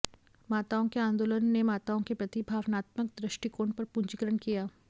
माताओं के आंदोलन ने माताओं के प्रति भावनात्मक दृष्टिकोण पर पूंजीकरण किया